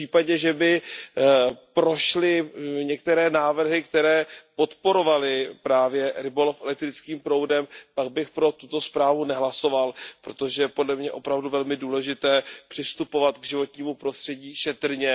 V případě, že by prošly některé návrhy, které podporovaly právě rybolov elektrickým proudem, pak bych pro tuto zprávu nehlasoval, protože podle mě je opravdu velmi důležité přistupovat k životnímu prostředí šetrně.